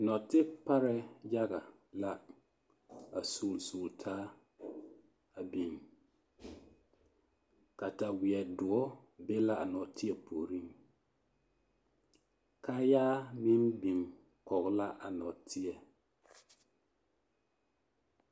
Nɔɔte parɛɛ yaga la a sugili sugili taa a biŋ kataweɛ doɔ be la a nɔɔteɛ puoriŋ, kaayaa meŋ biŋ kɔge la a nɔɔteɛ.